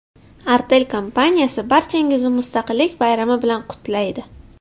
Artel kompaniyasi barchangizni Mustaqillik bayrami bilan qutlaydi.